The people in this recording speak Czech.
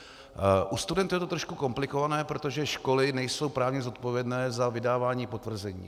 U studentů je to trošku komplikované, protože školy nejsou právně zodpovědné za vydávání potvrzení.